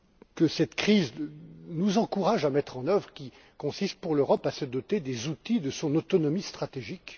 que cette crise nous encourage à mettre en œuvre qui consiste, pour l'Europe, à se doter des outils de son autonomie stratégique.